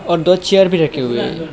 और दो चेयर भी रखी हुई है।